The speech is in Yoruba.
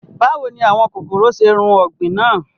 Bàwo ni àwọn kokoro ṣe run ọgbin naa?